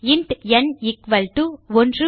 int n equal to 13876